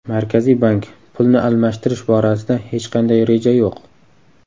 Markaziy bank: Pulni almashtirish borasida hech qanday reja yo‘q.